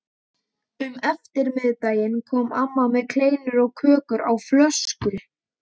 Um eftirmiðdaginn kom amma með kleinur og kakó á flösku.